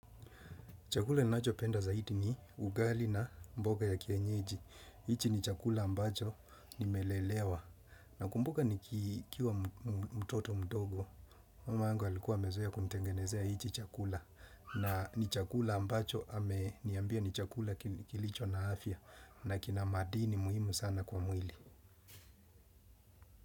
Chakula ninachopenda zaidi ni ugali na mboga ya kienyeji. Hichi ni chakula ambacho nimelelewa. Na kumbuka nikiwa mtoto mtogo. Mama yangu alikuwa amezoea kunitengenezea hichi chakula. Na ni chakula ambacho ame niambia ni chakula kilicho na afya. Nakina madini muhimu sana kwa mwili.